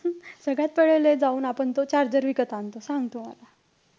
सगळ्यात पहिले जाऊन आपण तो charger विकत आणतो. सांग तू मला.